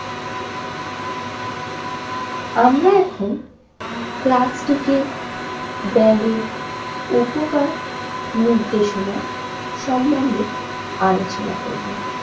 আমরা এখন প্লাস্টিকের ব্যাগের উপকার নির্দেশনার সম্বন্ধে আলোচনা করব।